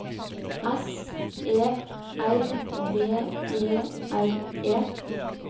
S E R V E R E